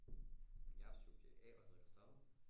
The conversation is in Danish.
Jeg er subjekt a og hedder Christoffer